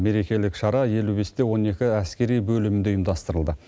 мерекелік шара елу бесте он екі әскери бөлімінде ұйымдастырылды